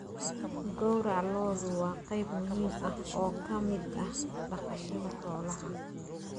Gowraca lo'du waa qayb muhiim ah oo ka mid ah dhaqashada xoolaha.